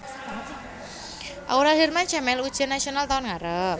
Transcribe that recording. Aurel Hermansyah melu ujian nasional taun ngarep